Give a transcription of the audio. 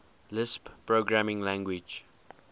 lisp programming language